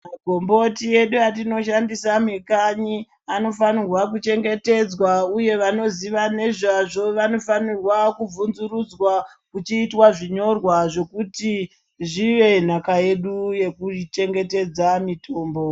Magomboti edu atinoshandisa mikanyi anofanirwa kuchengetedzwa uye vanoziva nezvazvo vanofanirwa kuvhunzurudzwa kuchiitwa zvinyorwa zvekuti zvive nhaka yedu yekuchengetedza mitombo.